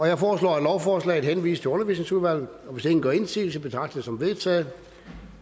jeg foreslår at lovforslaget henvises til undervisningsudvalget og hvis ingen gør indsigelse betragter som vedtaget